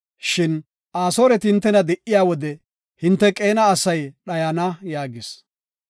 Shin Asooreti hintena di77iya wode, hinte Qeena asay dhayana” yaagis.